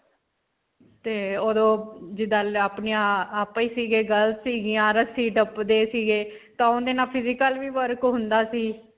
ਤੇ ਓਦੋਂ girls ਸੀਗੀਆਂ ਰੱਸੀ ਟੱਪਦੇ ਸੀਗੇ ਤਾਂ ਓਦੇ ਨਾਲ physical ਵੀ work ਹੁੰਦਾ ਸੀ.